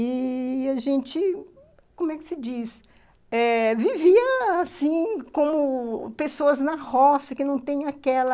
E... a gente, como é que se diz, vivia assim como pessoas na roça, que não tem aquela